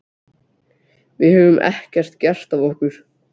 Við höfum ekkert gert af okkur.